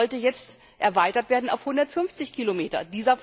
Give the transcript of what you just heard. Das sollte jetzt erweitert werden auf 150 Kilometer.